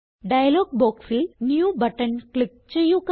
dialogue ബോക്സിൽ new button click ചെയ്യുക